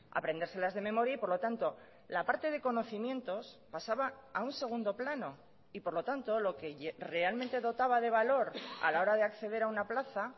aprendérselas de memoria y por lo tanto la parte de conocimientos pasaba a un segundo plano y por lo tanto lo que realmente dotaba de valor a la hora de acceder a una plaza